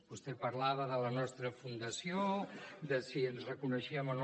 vostè parlava de la nostra fundació de si ens reconeixíem o no